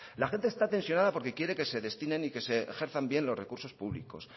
la gente está tensionada porque quiere que se destinen y se ejerzan bien los recursos públicos